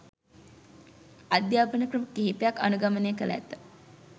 අධ්‍යාපන ක්‍රම කිහිපයක් අනුගමනය කර ඇත.